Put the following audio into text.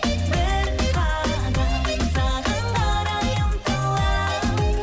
бір қадам саған қарай ұмтыламын